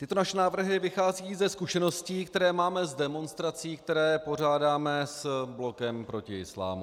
Tyto naše návrhy vycházejí ze zkušeností, které máme z demonstrací, které pořádáme s Blokem proti islámu.